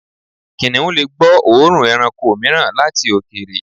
Kìnnìún lè gbọ́ òórùn ẹranko mìíràn láti òkèèrè.